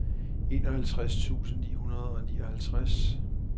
enoghalvtreds tusind ni hundrede og nioghalvtreds